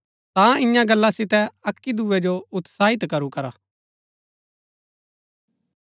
ता ईयां गल्ला सितै अक्की दुऐ जो उत्साहित करू करा